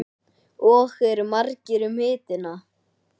Og eru margir um hituna?